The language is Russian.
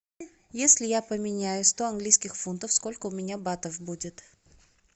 если я поменяю сто английских фунтов сколько у меня батов будет